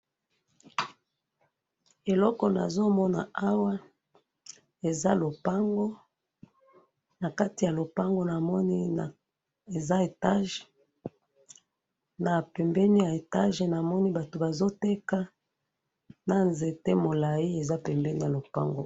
Eloko nazomona awa eza lopango, nakati yalopango namoni etage, pembeni ya etage namoni bato bazo teka nanzete molayi pembeni yalopango